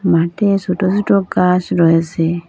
মাঠে সোটো সোটো গাছ রয়েসে ।